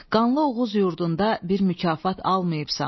Qanlı Oğuz yurdunda bir mükafat almayıbsan.